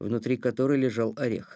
внутри которой лежал орех